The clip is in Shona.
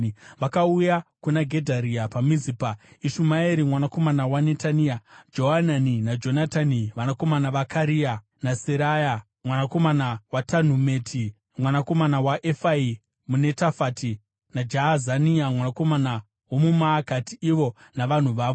vakauya kuna Gedharia paMizipa, Ishumaeri mwanakomana waNetania, Johanani naJonatani vanakomana vaKarea, naSeraya mwanakomana waTanhumeti, mwanakomana waEfai muNetofati, naJaazania mwanakomana womuMaakati, ivo navanhu vavo.